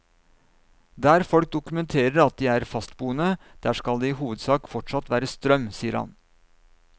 Der folk dokumenterer at de er fastboende, der skal det i hovedsak fortsatt være strøm, sier han.